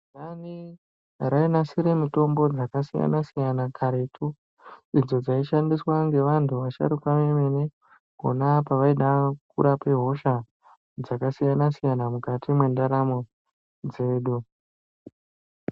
Zumbani rainasira mitombo dzakasiyanasiyana karetu idzo dzaishandiswa ngevantu vasharukwa vemene konaapo vaida kurape hosha dzakasiyana siyana mukati mwendaramo dzedu.